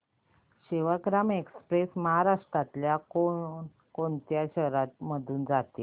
Sevagram express महाराष्ट्रातल्या कोण कोणत्या शहरांमधून जाते